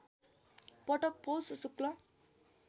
पटक पौष शुक्ल